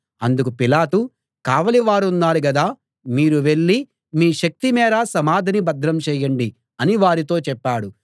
అందుకు పిలాతు కావలి వారున్నారు గదా మీరు వెళ్ళి మీ శక్తి మేర సమాధిని భద్రం చేయండి అని వారితో చెప్పాడు